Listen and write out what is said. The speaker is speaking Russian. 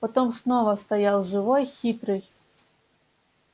потом снова стоял живой хитрый